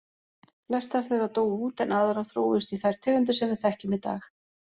Flestar þeirra dóu út en aðrar þróuðust í þær tegundir sem við þekkjum í dag.